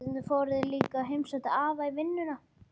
Stundum fóru þeir líka og heimsóttu afa í vinnuna.